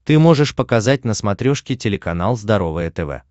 ты можешь показать на смотрешке телеканал здоровое тв